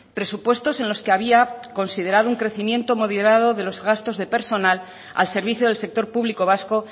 presupuestos en los que había considerado un crecimiento moderado de los gastos de personal al servicio del sector público vasco